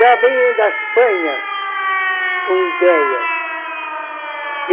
Já venho da Espanha com ideias.